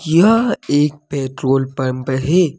यह एक petrol pump है।